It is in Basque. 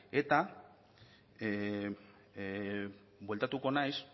eta bueltatuko naiz